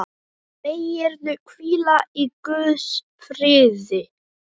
Megirðu hvíla í Guðs friði.